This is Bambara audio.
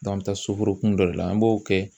an bɛ taa suforokun dɔ de la an b'o kɛ